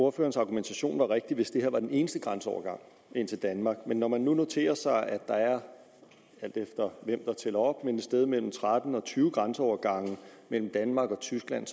ordførerens argumentation var rigtig hvis det her var den eneste grænseovergang ind til danmark men når man nu noterer sig at der er et sted mellem tretten og tyve grænseovergange mellem danmark og tyskland